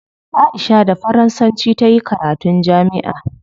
Aisha da faransanci tayi karatun jami'a